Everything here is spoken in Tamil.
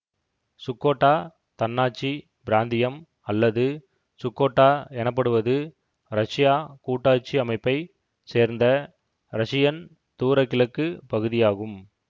சுக்கோட்டா தன்னாட்சி பிராந்தியம் அல்லது சுக்கோட்டா எனப்படுவது ரஷ்யா கூட்டாட்சி அமைப்பை சேர்ந்த ரஷியன் தூர கிழக்கு பகுதியாகும்